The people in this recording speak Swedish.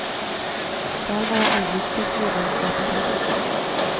Själv har jag aldrig sökt medlemskap i klubben.